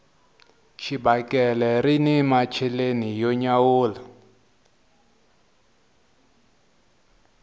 xibakele rini macheleni yo nyawula